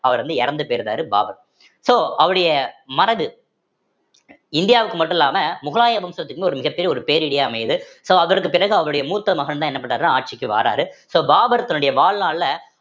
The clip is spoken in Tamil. அவர் வந்து இறந்து போயிருந்தாரு பாபர் so அவருடைய மனது இந்தியாவுக்கு மட்டும் இல்லாம முகலாய வம்சத்துக்கும்மு ஒரு மிகப்பெரிய ஒரு பேரிடியா அமையுது so அவருக்கு பிறகு அவருடைய மூத்த மகன்தான் என்ன பண்றாருன்னா ஆட்சிக்கு வாராரு so பாபர் தன்னுடைய வாழ்நாள்ல